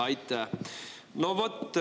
Aitäh!